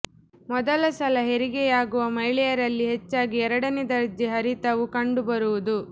ಮೊದಲ ಸಲ ಹೆರಿಗೆಯಾಗುವ ಮಹಿಳೆಯರಲ್ಲಿ ಹೆಚ್ಚಾಗಿ ಎರಡನೇ ದರ್ಜೆ ಹರಿತವು ಕಂಡುಬರುವುದು